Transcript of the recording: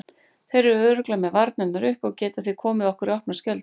Þeir eru örugglega með varnirnar uppi og geta því komið okkur í opna skjöldu.